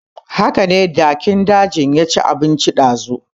Hakane jakin dajin ya ci abinci dazu